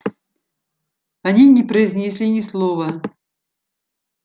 они не произнесли ни слова